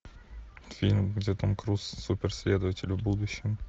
фильм где том круз супер следователь в будущем